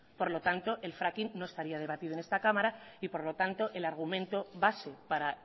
por lo tanto el fracking no estaría debatido en esta cámara y por lo tanto el argumento base para